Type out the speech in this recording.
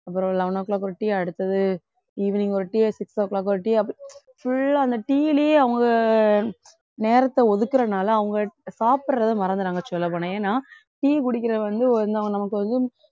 அப்புறம் eleven o'clock ஒரு tea அடுத்தது evening ஒரு tea six o'clock ஒரு tea அப்புறம் full ஆ அந்த tea யிலயே அவங்க நேரத்தை ஒதுக்குறனால அவங்க சாப்பிடுறதை மறந்திடறாங்க சொல்லப்போனா ஏன்னா tea குடிக்கிறது வந்து நமக்கு வந்து